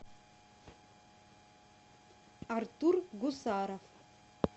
артур гусаров